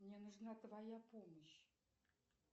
мне нужна твоя помощь